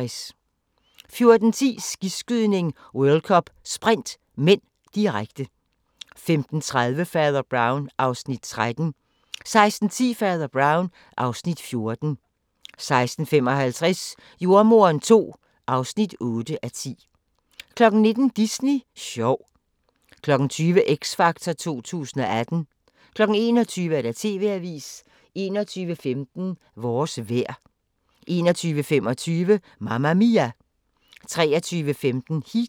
14:10: Skiskydning: World Cup - Sprint (m), direkte 15:30: Fader Brown (Afs. 13) 16:10: Fader Brown (Afs. 14) 16:55: Jordemoderen II (8:10) 19:00: Disney sjov 20:00: X Factor 2018 21:00: TV-avisen 21:15: Vores vejr 21:25: Mamma Mia! 23:15: Heat